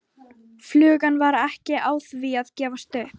Flugan var ekki á því að gefast upp.